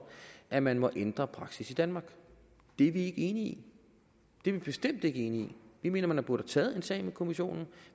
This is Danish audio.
at man må ændre praksis i danmark det er vi ikke enige i det er vi bestemt ikke enige i vi mener at man burde have taget en sag med kommissionen